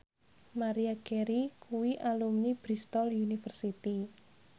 Maria Carey kuwi alumni Bristol university